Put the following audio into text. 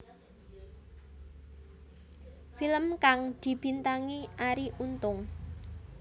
Film kang dibintangi Arie Untung